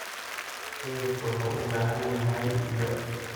Xididku wuxuu u baahan yahay biyo cusub.